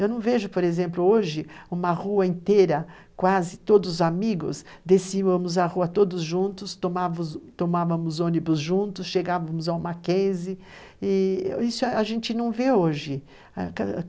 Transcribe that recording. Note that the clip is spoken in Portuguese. Eu não vejo, por exemplo, hoje, uma rua inteira, quase todos os amigos, descíamos a rua todos juntos, tomávamos ônibus juntos, chegávamos a uma case, e isso a gente não vê hoje.